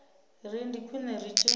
ri ndi khwine ri tshi